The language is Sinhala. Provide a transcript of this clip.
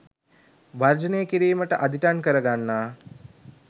වර්ජනය කිරීමට අදිටන් කර ගන්නා